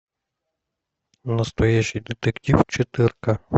настоящий детектив четырка